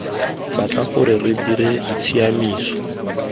batla gore re dire ditshiamiso